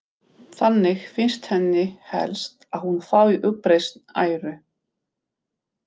Þannig finnst henni helst að hún fái uppreisn æru.